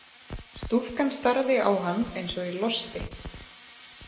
Stúlkan starði á hann eins og í losti.